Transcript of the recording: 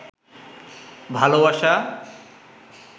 ভালোবাসা